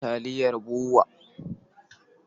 Muna da taliyar BUA.